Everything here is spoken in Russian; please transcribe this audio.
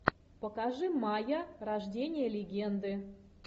покажи майя рождение легенды